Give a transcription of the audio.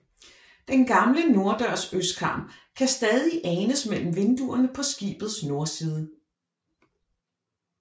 Den gamle norddørs østkarm kan stadig anes mellem vinduerne på skibets nordside